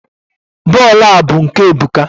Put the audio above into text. bọọlụ a bụ nke Ebuka.